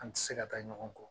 An tɛ se ka taa ɲɔgɔn kɔ